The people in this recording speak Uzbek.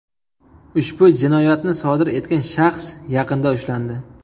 Ushbu jinoyatni sodir etgan shaxs yaqinda ushlandi.